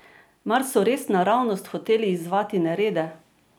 Mar so res naravnost hoteli izzvati nerede?